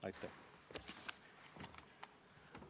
Aitäh!